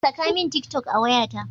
Saka min tik toc a wayata.